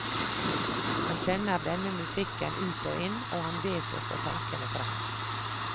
Han kjenner denne musikken ut og inn, og han vet å få tankene frem.